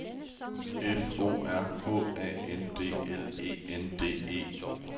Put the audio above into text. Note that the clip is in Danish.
F O R H A N D L E N D E